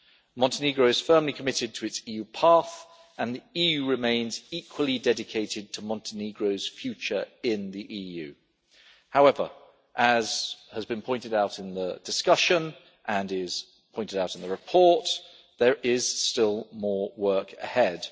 Montenegro is firmly committed to its EU path and the EU remains equally dedicated to Montenegro's future in the EU. However, as has been pointed out in the discussion and as is pointed out in the report, there is still more work ahead.